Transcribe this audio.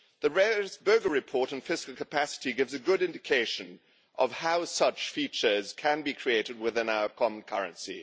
The Berès Böge report on fiscal capacity gives a good indication of how such features can be created within our common currency.